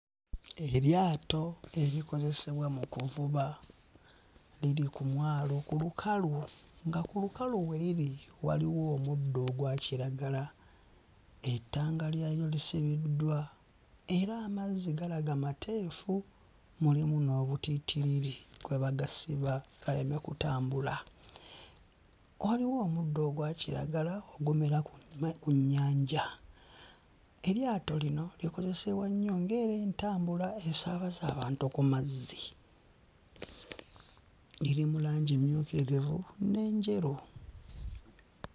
Eryato erikozesebwa mu kuvuba. Liri ku mwalo ku lukalu nga ku lukalu we liri waliwo omuddo ogwakiragala. Ettanga lyalyo lisibiddwa era amazzi galaga mateefu, mulimu n'obutiitiriri kwe bagasiba galeme kutambula. Waliwo omuddo ogwa kiragala ogumera ku nnyanja. Eryato lino likozesebwa nnyo ng'era entambula esaabaza abantu ku mazzi. Liri mu langi emmyukirivu n'enjeru.